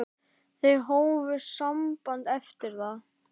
Þau hófu samband eftir það.